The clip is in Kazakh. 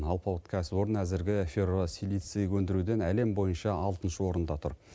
алпауыт кәсіпорын әзіргі ферросилиций өндіруден әлем бойынша алтыншы орында тұр